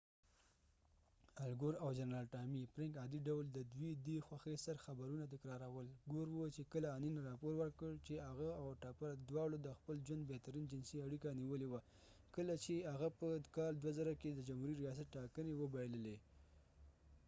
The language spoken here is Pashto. الګور او جنرال ټامی فرینک عادي ډول ددوي دي خوښۍ سر خبرونه تکرارول ګور وه چې کله انین رابور ورکړ چې هغه او ټپر د واړو د خپل ژوند بهترین جنسی اړیکه نیولی وه کله چې هغه په کال 2000 کې د جمهوری ریاست ټاکنی وبایللی